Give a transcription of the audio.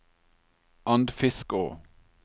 Andfiskå